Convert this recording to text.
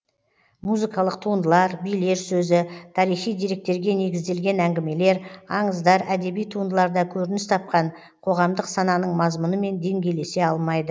музыкалық туындылар билер сөзі тарихи деректерге негізделген әңгімелер аңыздар әдеби туындыларда көрініс тапқан қоғамдық сананың мазмұнымен деңгейлесе алмайды